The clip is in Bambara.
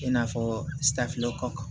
I n'a fɔ safinɛ kɔ